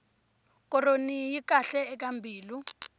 koroni yi kahle eka mbilu